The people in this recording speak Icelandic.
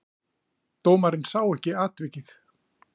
Dómarinn sá ekki atvikið.